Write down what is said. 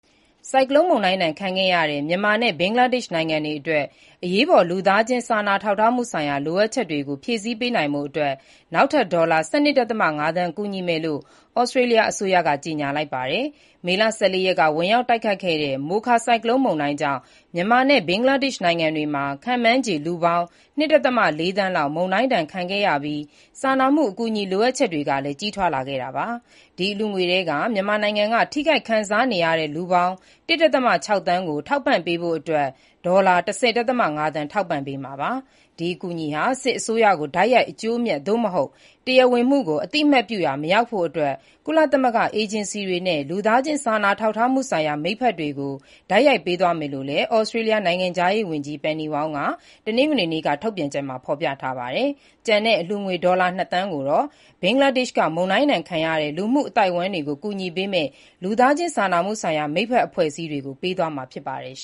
ဆိုင်ကလုန်းမုန်တိုင်းဒဏ် ခံခဲ့ရတဲ့ မြန်မာနဲ့ ဘင်္ဂလားဒေ့ရှ်နိုင်ငံတွေအတွက် အရေးပေါ် လူသားချင်းစာနာထောက်ထားမှုဆိုင်ရာ လိုအပ်ချက်တွေကို ဖြည့်ဆည်းပေးနိုင်ဖို့အတွက် နောက်ထပ် ဒေါ်လာ ၁၂.၅ သန်း ကူညီမယ်လို့ သြစတြေးလျအစိုးရက ကြေညာလိုက်ပါတယ်။ မေလ ၁၄ ရက်က ဝင်ရောက်တိုက်ခတ်ခဲ့တဲ့ မိုခါဆိုင်ကလုန်းကြောင့် မြန်မာနဲ့ ဘင်္ဂလားဒေ့ရှ်နိုင်ငံတွေမှာ ခန့်မှန်းခြေ လူပေါင်း ၂.၄ သန်းလောက် မုန်တိုင်းဒဏ်ခံခဲ့ရပြီး စာနာမှု အကူအညီလိုအပ်ချက်တွေလည်း ကြီးထွားလာခဲ့တာပါ။ ဒီအလှူငွေထဲက မြန်မာနိုင်ငံက ထိခိုက်ခံစားနေရတဲ့ လူပေါင်း ၁.၆ သန်းကို ထောက်ပံ့ပေးဖို့အတွက် ဒေါ်လာ ၁၀ ဒသမ ၅ သန်း ထောက်ပံ့ပေးမှာပါ။ ဒီအကူအညီဟာ စစ်အစိုးရကို တိုက်ရိုက်အကျိုးအမြတ် သို့မဟုတ် တရားဝင်မှုကို အသိအမှတ်ပြုရာ မရောက်ဖို့အတွက် ကုလသမဂ္ဂအေဂျင်စီတွေနဲ့ လူသားချင်းစာနာထောက်ထားမှုဆိုင်ရာ မိတ်ဖက်တွေကို တိုက်ရိုက်ပေးသွားမယ်လို့လည်း သြစတြေးလျ နိုင်ငံခြားရေးဝန်ကြီး Penny Wong ရဲ့ တနင်္ဂနွေနေ့ ထုတ်ပြန်ချက်မှာ ဖော်ပြထားပါတယ်။ ကျန်တဲ့ အလှူငွေ ဒေါ်လာ ၂ သန်းကိုတော့ ဘင်္ဂလားဒေ့ရှ်က မုန်တိုင်းဒဏ်ခံရတဲ့ လူမှုအသိုင်းအဝိုင်းတွေကို ကူညီပေးမယ့် လူသားချင်းစာနာမှုဆိုင်ရာ မိတ်ဖက်အဖွဲ့အစည်းတွေကို ပေးမှာဖြစ်ပါတယ်။